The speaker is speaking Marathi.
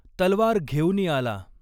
तलवार घेऊनी आला